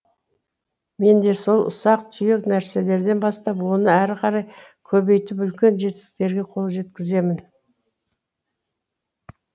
менде сол ұсақ түйек нәрселерден бастап оны әрі қарай көбейтіп үлкен жетістіктерге қол жеткіземін